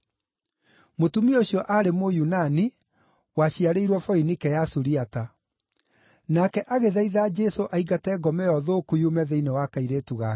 Mũtumia ũcio aarĩ Mũyunani, waciarĩirwo Foinike ya Suriata. Nake agĩthaitha Jesũ aingate ngoma ĩyo thũku yume thĩinĩ wa kairĩtu gake.